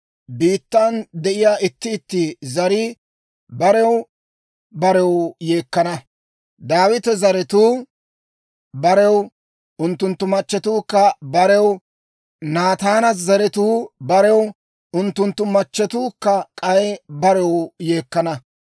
Biittan de'iyaa itti itti zarii barew barew yeekkana; Daawita zaratuu barew, unttunttu machchetuukka barew, Naataana zaratuu barew, unttunttu machchetuukka k'ay barew yeekkana.